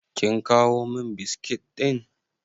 Kin kawo min biskit ɗin?